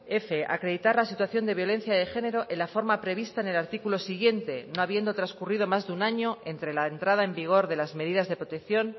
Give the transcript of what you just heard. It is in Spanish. f acreditar la situación de violencia de género en la forma prevista en el artículo siguiente no habiendo transcurrido más de un año entre la entrada en vigor de las medidas de protección